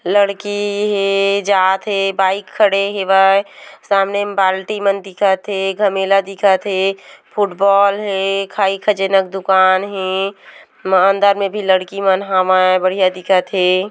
लड़की हे जात हे बाइक खड़े हेवय सामने म बाल्टी मन दिखत हे घमेला दिखत हे फुटबॉल हे खाई खजेना के दुकान दिखत हे म अंदर में भी लड़की मन हावय बढ़िया दिखत हे।